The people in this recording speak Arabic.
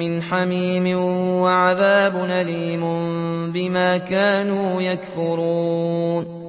مِّنْ حَمِيمٍ وَعَذَابٌ أَلِيمٌ بِمَا كَانُوا يَكْفُرُونَ